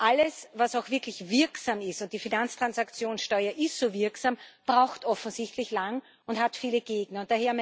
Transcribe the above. Alles, was auch wirklich wirksam ist und die Finanztransaktionssteuer ist so wirksam braucht offensichtlich lang und hat viele Gegner.